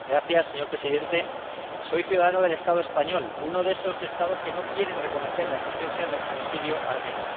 Señor Presidente, soy ciudadano del Estado español, uno de esos Estados que no quieren reconocer la existencia del genocidio armenio.